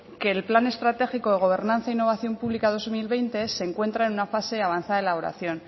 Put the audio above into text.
que el plan estratégico de gobernanza e innovación pública dos mil veinte se encuentra en una fase avanzada de elaboración